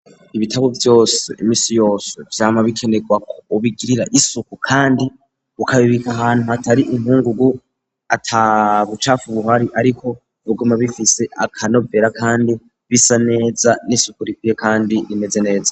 Ibitabo vyose imisi yose vyama bikenerwa ubigirira isuku kandi ukabibika ahantu hatari inkungugu atabucafa ubuhari ariko bugoma bifise akanovera kandi bisa neza n'isuku rikwiye kandi rimeze neza.